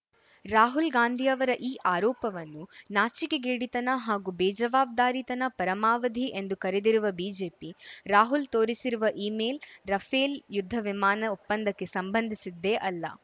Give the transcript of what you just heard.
ರಾಹುಲ್‌ ಗಾಂಧಿಯವರ ಈ ಆರೋಪವನ್ನು ನಾಚಿಕೆಗೇಡಿತನ ಹಾಗೂ ಬೇಜವಾಬ್ದಾರಿತನ ಪರಮಾವಧಿ ಎಂದು ಕರೆದಿರುವ ಬಿಜೆಪಿ ರಾಹುಲ್‌ ತೋರಿಸಿರುವ ಇಮೇಲ್‌ ರಫೇಲ್‌ ಯುದ್ಧವಿಮಾನ ಒಪ್ಪಂದಕ್ಕೆ ಸಂಬಂಧಿಸಿದ್ದೇ ಅಲ್ಲ